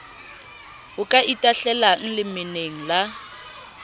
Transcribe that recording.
o ka itahlelang lemeneng la